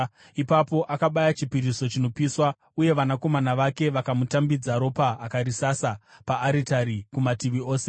Ipapo akabaya chipiriso chinopiswa, uye vanakomana vake vakamutambidza ropa akarisasa paaritari kumativi ose.